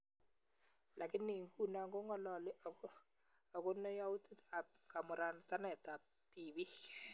Lakini inguno kong'alali agono yautik ab kamauratanet ab tibiik